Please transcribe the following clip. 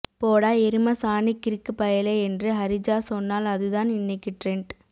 போடா எருமசானி கிறுக்கு பயலே என்று ஹரிஜா சொன்னால் அதுதான் இன்னைக்கு ட்ரெண்ட்